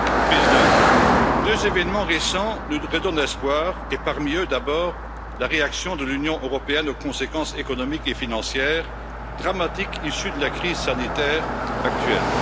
Monsieur le Président, deux événements récents nous redonnent espoir. Et parmi eux, d'abord, la réaction de l'Union européenne aux conséquences économiques et financières dramatiques issues de la crise sanitaire actuelle.